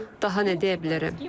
Daha nə deyə bilərəm?